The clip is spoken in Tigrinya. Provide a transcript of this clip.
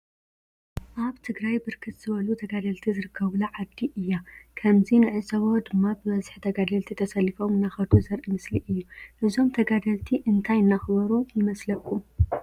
አብ ትግራይ ብርክት ዝበሉ ተጋደለቲ ዝርከቡላ ዓዲ እያ ከመዚ ንዕዞቦ ድማ ብበዚሒ ተጋደልቲ ተሰሊፎም እናከዱ ዘሪኢ ምስሊ እዩ። እዞም ተጋደልቲ እንታየ እናክበሩ ይመስሉኩም?